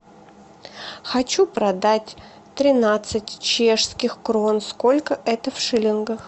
хочу продать тринадцать чешских крон сколько это в шиллингах